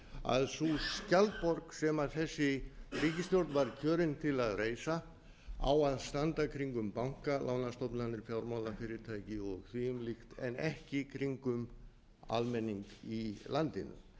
að sú skjaldborg sem þessi ríkisstjórn var kjörin til að reisa á að standa kringum banka lánastofnanir fjármálafyrirtæki og þvíumlíkt en ekki kringum almenning í landinu